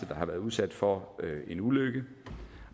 der har været udsat for en ulykke